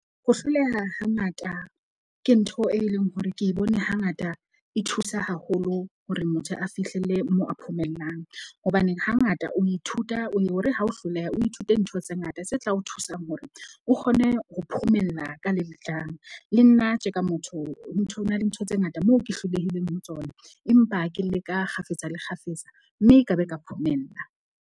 Ho hloleha hangata ke ntho e leng hore ke e bone hangata e thusa haholo hore motho a fihlelle mo a phomellang. Hobaneng hangata o ithuta o ye hore ha o hloleha, o ithute ntho tse ngata tse tla o thusang hore o kgone ho phomella ka le letlang. Le nna tje ka motho ntho ho na le ntho tse ngata moo ke hlolehileng ho tsona. Empa ke leka kgafetsa le kgafetsa mme ka be ka phomella.